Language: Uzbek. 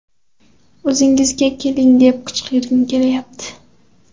O‘zingizga keling, deb qichqirgim kelyapti!